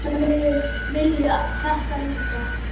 Ítalir vilja þetta líka.